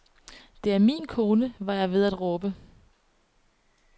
Det er min kone, var jeg ved at råbe.